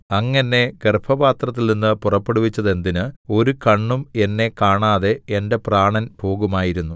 അങ്ങ് എന്നെ ഗർഭപാത്രത്തിൽനിന്ന് പുറപ്പെടുവിച്ചതെന്തിന് ഒരു കണ്ണും എന്നെ കാണാതെ എന്റെ പ്രാണൻ പോകുമായിരുന്നു